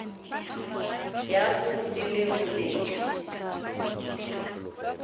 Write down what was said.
ya go di le robedi